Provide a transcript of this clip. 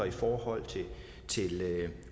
i forhold til